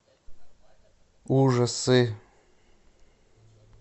ужасы